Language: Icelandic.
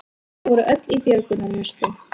Þau voru öll í björgunarvestum